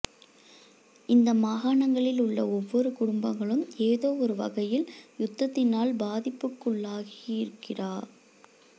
இந்த மாகாணங்களில் உள்ள ஒவ்வொரு குடும்பங்களும் ஏதோவொரு வகையில் யுத்தத்தினால் பாதிப்புக்களுக்குள்ளாகியிருகிறா